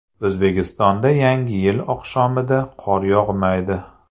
O‘zbekistonda Yangi yil oqshomida qor yog‘maydi.